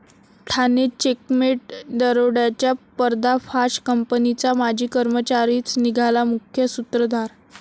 Thane 'checkmate' दरोड्याचा पर्दाफाश, कंपनीचा माजी कर्मचारीच निघाला मुख्य सूत्रधार